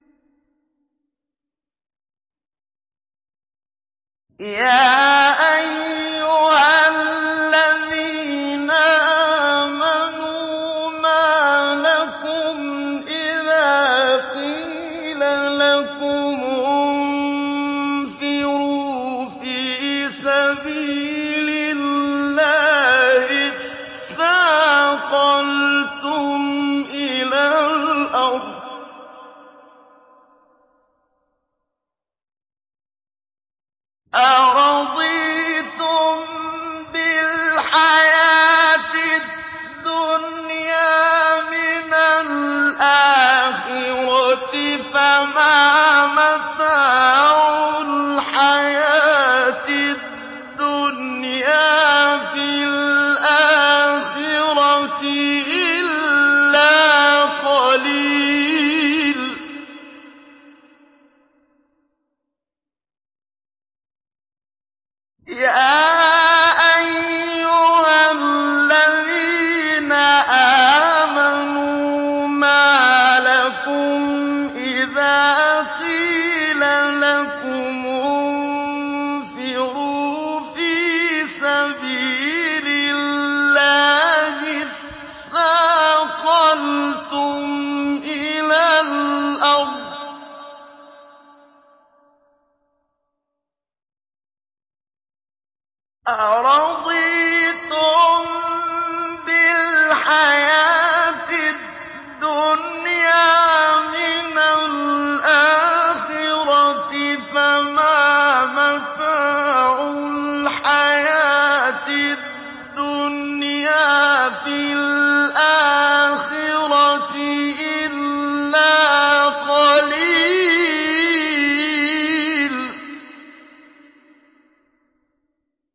يَا أَيُّهَا الَّذِينَ آمَنُوا مَا لَكُمْ إِذَا قِيلَ لَكُمُ انفِرُوا فِي سَبِيلِ اللَّهِ اثَّاقَلْتُمْ إِلَى الْأَرْضِ ۚ أَرَضِيتُم بِالْحَيَاةِ الدُّنْيَا مِنَ الْآخِرَةِ ۚ فَمَا مَتَاعُ الْحَيَاةِ الدُّنْيَا فِي الْآخِرَةِ إِلَّا قَلِيلٌ